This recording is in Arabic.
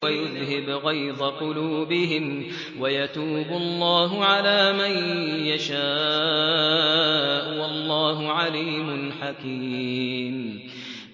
وَيُذْهِبْ غَيْظَ قُلُوبِهِمْ ۗ وَيَتُوبُ اللَّهُ عَلَىٰ مَن يَشَاءُ ۗ وَاللَّهُ عَلِيمٌ حَكِيمٌ